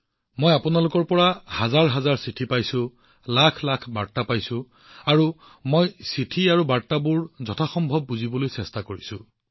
মই আপোনালোক সকলোৰে পৰা হাজাৰ হাজাৰ চিঠি পাইছো লাখ লাখ বাৰ্তা আৰু মই যিমান সম্ভৱ সিমানবোৰ চিঠি পঢ়িবলৈ চেষ্টা কৰিছো সেইবোৰ চাইছো আৰু বাৰ্তাবোৰ অলপ বুজিবলৈ চেষ্টা কৰিছো